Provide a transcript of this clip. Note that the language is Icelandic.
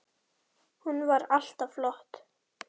Hún var alltaf flott.